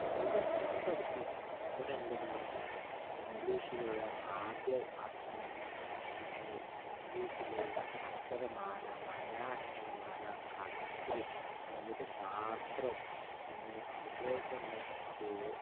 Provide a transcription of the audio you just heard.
അവിടെ എല്ലാതും പഠിപ്പിക്കും, എല്ലാതും പഠിപ്പിക്കും. ഇംഗ്ളീഷിലുള്ള ആദ്യ അക്ഷരങ്ങൾ, പിന്നെ ഇംഗ്ളീഷില് അക്ഷരമാല, മലയാള അക്ഷരമാല, കണക്ക്, ഗണിതശാസ്ത്രം പിന്നെ അതുപോലെ തന്നെ ഈ